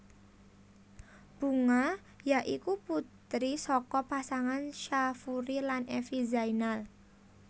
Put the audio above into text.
Bunga ya iku putri saka pasangan Syafury lan Evi Zainal